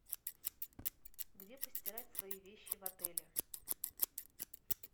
где постирать свои вещи в отеле